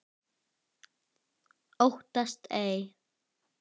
Óttast ei.